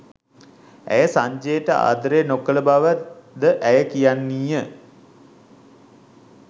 ඇය සංජයට ආදරය නොකළ බවද ඇය කියන්නීය